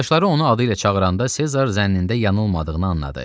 Yoldaşları onu adı ilə çağıranda Sezar zənnində yanılmadığını anladı.